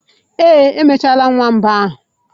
Ee, emechaala m nwamba ahụ.